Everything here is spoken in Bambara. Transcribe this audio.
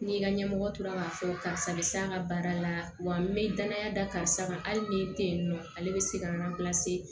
Ni ka ɲɛmɔgɔ tora k'a fɔ karisa bɛ s'a ka baara la wa n bɛ danaya da karisa kan hali ni tɛ yen nɔ ale bɛ se ka